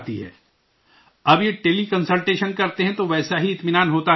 اب یہ teleconsultation کرتے ہیں تو ویسا ہی اطمینان ہوتا ہے آپ کو؟